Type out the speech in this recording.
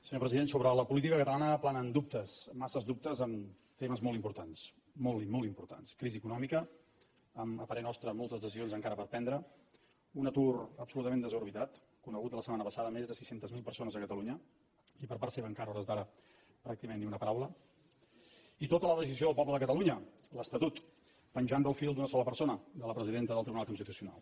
senyor president sobre la política catalana planen dubtes massa dubtes en temes molt importants molt i molt importants crisi econòmica amb a parer nostre moltes decisions encara per prendre un atur absolutament desorbitat conegut de la setmana passada més sis cents miler persones a catalunya i per part seva encara a hores d’ara pràcticament ni una paraula i tota la decisió del poble de catalunya l’estatut penjant del fil d’una sola persona de la presidenta del tribunal constitucional